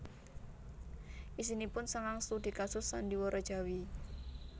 Isinipun sangang studi kasus sandhiwara Jawi